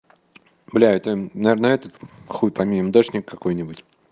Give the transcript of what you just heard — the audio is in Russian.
бля это наверное этот хуй пойми мдэшник какой-нибудь